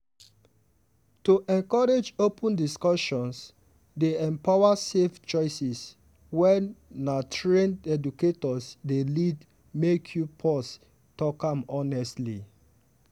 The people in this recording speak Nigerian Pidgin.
to encourage open discussions dey empower safe choices wey na trained educators dey lead make we pause talk am honestly.